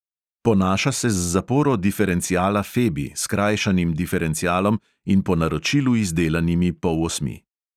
Ponaša se z zaporo diferenciala febi, skrajšanim diferencialom in po naročilu izdelanimi polosmi.